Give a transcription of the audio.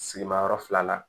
Sigimayɔrɔ fila la